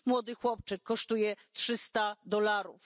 Młody chłopczyk kosztuje trzysta dolarów.